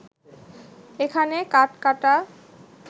এখানে কাঠ কাটা